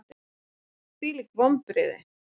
Hvílík vonbrigði!